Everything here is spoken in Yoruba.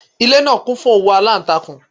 Ilé náà kún fún òwú alántakùn